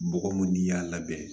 Bɔgɔ mun n'i y'a labɛn